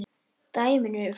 Dæmin eru fleiri.